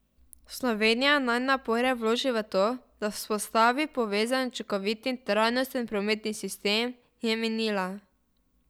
Slovenija naj napore vloži v to, da vzpostavi povezan, učinkovit in trajnosten prometni sistem, je menila.